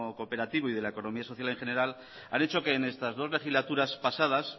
cooperativo y de la economía social en general han hecho que en estas dos legislaturas pasadas